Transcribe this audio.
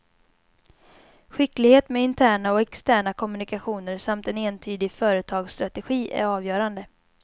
Skicklighet med interna och externa kommunikationer samt en entydig företagsstrategi är avgörande.